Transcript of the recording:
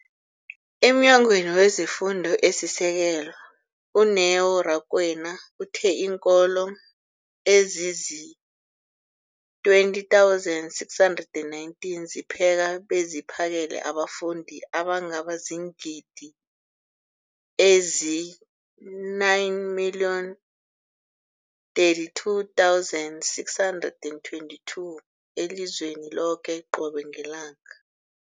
EmNyangweni wezeFundo esiSekelo, u-Neo Rakwena, uthe iinkolo ezizi-20 619 zipheka beziphakele abafundi abangaba ziingidi ezili-9 032 622 elizweni loke qobe ngelanga.